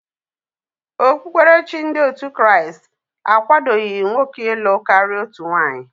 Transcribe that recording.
Okpukperechi ndị otu Kraịst akwadoghi nwoke ilụ karịa otu nwaanyị.